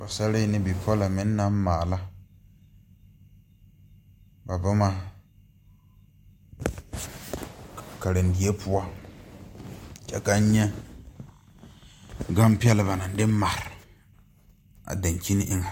Pɔɔsare ne bipɔlɔ meŋ naŋ maala ba boma karendie poɔ kyɛ kaŋ nyɛ gampɛlɛ ba naŋ de mare a daŋkyini eŋɛ.